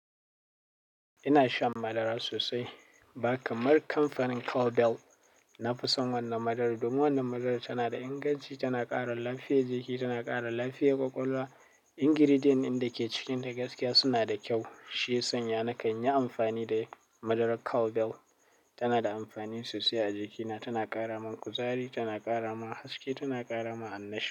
Ina shan madara sosai, ba kamar kamfanin Cowbell. Na fi son wannan madarar domin wannan madarar tana da inganci, tana ƙara lafiyar jiki, tana ƙara lafiyar ƙwaƙwalwa. Ingredients ɗin da ke cikinta gaskiya suna da kyau. Shi yasana na kan yi amfani da madarar Cowbell. Tana da amfani sosai a jikina, tana ƙara min kuzari, tana ƙara ma haske, tana ƙara ma annashuwa.